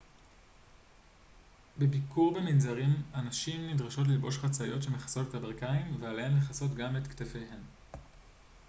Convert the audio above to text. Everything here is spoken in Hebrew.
בביקור במנזרים הנשים נדרשות ללבוש חצאיות שמכסות את הברכיים ועליהן לכסות גם את כתפיהן